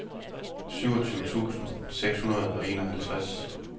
syvogtyve tusind seks hundrede og enoghalvtreds